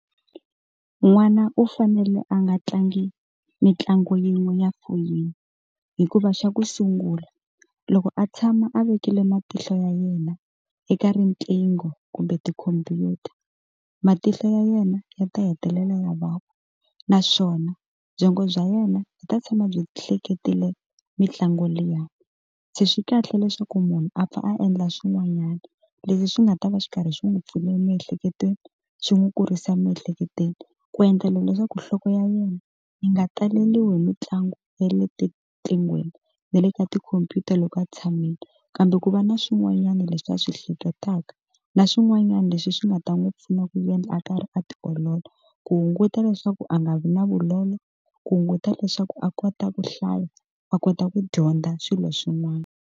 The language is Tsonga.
N'wana u fanele a nga tlangi mitlangu yin'we ya foyini hikuva xa ku sungula loko a tshama a vekile matihlo ya yena eka riqingho kumbe tikhompyuta matihlo ya yena ya ta hetelela lavaka naswona byongo bya yena yi ta tshama byi hleketele mitlangu liya, se swi kahle leswaku munhu a pfa a endla swin'wanyana leswi swi nga ta va xi karhi xi n'wi pfuniwa emiehleketweni xi n'wi kurisa emiehleketweni ku endlela leswaku nhloko ya yena yi nga taleriwi hi mitlangu ya le etiqinghweni na le ka tikhompyuta loko a tshamile kambe ku va na swin'wanyana leswi a swi hleketaka na swin'wanyana leswi swi nga ta n'wi pfuna ku endla a karhi a tiolola ku hunguta leswaku a nga vi na vulolo ku hunguta leswaku a kota ku hlaya a kota ku dyondza swilo swin'wana.